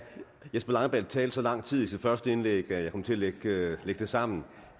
jesper langballe talte så lang tid i sit første indlæg at jeg kom til at lægge tiden sammen